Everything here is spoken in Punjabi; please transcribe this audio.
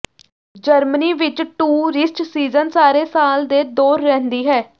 ਜਰਮਨੀ ਵਿਚ ਟੂਰਿਸਟ ਸੀਜ਼ਨ ਸਾਰੇ ਸਾਲ ਦੇ ਦੌਰ ਰਹਿੰਦੀ ਹੈ